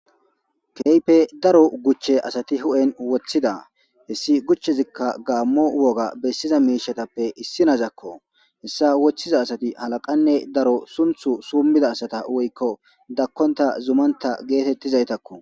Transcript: Kehippe daro guche asati huphen wothida hesi guchezika gamo woga bessiza mishatappe issako hesa gucha wothiza asati daro halaqanne sunthu suumida asatako woyko dakonta, zumanta getetiza asatako.